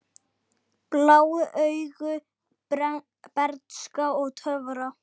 Blá augu, bernska og töfrar